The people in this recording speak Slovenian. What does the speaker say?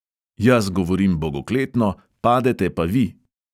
"Jaz govorim bogokletno, padete pa vi!"